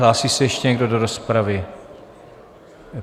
Hlásí se ještě někdo do rozpravy?